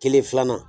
Kelen filanan